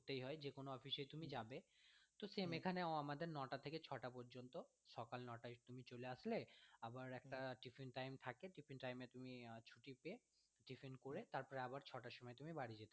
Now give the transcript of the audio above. যে কোনো office এ তুমি যাবে তো same এখানেও আমাদের নটা থেকে ছটা পর্যন্ত, সকাল নটায় তুমি চলে আসলে আবার একটা tiffin time থাকে tiffin time এ তুমি আহ ছুটি পেয়ে tiffin time করে তারপরে আবার ছটার সময় তুমি বাড়ি যেতে পারবো।